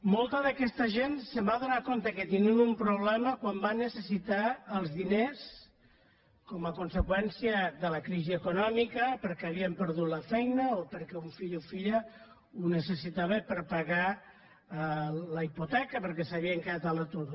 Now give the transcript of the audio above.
molta d’aquesta gent es va adonar que tenien un problema quan va necessitar els diners com a conseqüència de la crisi econòmica perquè havien perdut la feina o perquè un fill o filla ho necessitava per pagar la hipoteca perquè s’havien quedat a l’atur